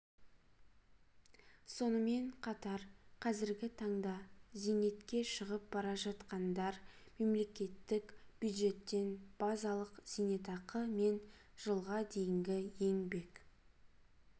сонымен қатар қазіргі таңда зейнетке шығып бара жатқандар мемлекеттік бюджеттен базалық зейнетақы мен жылға дейінгі еңбек